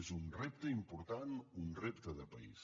és un repte important un repte de país